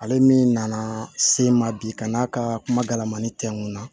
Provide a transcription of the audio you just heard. Ale min nana se n ma bi ka n'a ka kuma dalamani tɛ n kun na